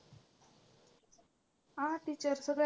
हां teacher सगळे.